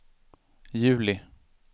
juli